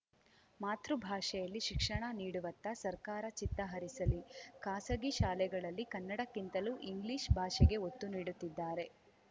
ಮಾತೃಭಾಷೆಯಲ್ಲಿ ಶಿಕ್ಷಣ ನೀಡುವತ್ತ ಸರ್ಕಾರ ಚಿತ್ತ ಹರಿಸಲಿ ಖಾಸಗಿ ಶಾಲೆಗಳಲ್ಲಿ ಕನ್ನಡಕ್ಕಿಂತಲೂ ಇಂಗ್ಲಿಷ್‌ ಭಾಷೆಗೆ ಒತ್ತು ನೀಡುತ್ತಿದ್ದಾರೆ